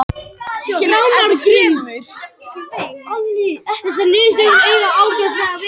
Mamma heyrði lætin og kom þjótandi inn í stofu.